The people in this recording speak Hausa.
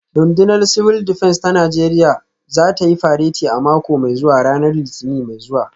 Rundunar Civil Defence ta Najeriya za ta yi fareti a mako mai zuwa a ranar Litinin mai zuwa